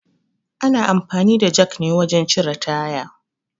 Ana amfani da jak ne wajen cire taya